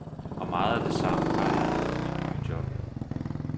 Og meget af det samme har jeg i mit nye job.